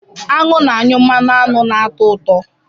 Aṅụ na-anyụ mmanụ aṅụ ná-atọ ụtọ.